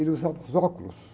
Ele usava os óculos.